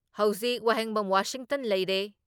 ꯍꯧꯖꯤꯛ ꯋꯥꯍꯦꯡꯕꯝ ꯋꯥꯁꯤꯡꯇꯟ ꯂꯩꯔꯦ